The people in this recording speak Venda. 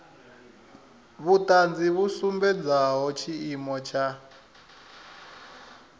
vhuṱanzi vhu sumbedzaho tshiimo tsha